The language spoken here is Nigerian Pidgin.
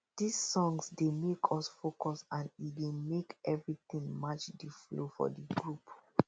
this songs dey make us focus and e dey make every tin match the flow for the group